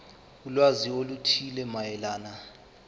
ulwazi oluthile mayelana